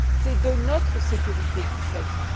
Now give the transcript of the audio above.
C'est de notre sécurité qu'il s'agit.